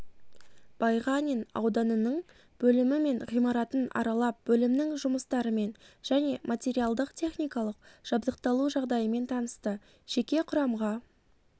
байғанин ауданының бөлімі мен ғимаратын аралап бөлімнің жұмыстарымен және материалдық-техникалық жабдықталу жағдайымен танысты жеке құрамға